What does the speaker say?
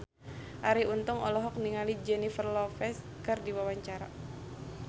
Arie Untung olohok ningali Jennifer Lopez keur diwawancara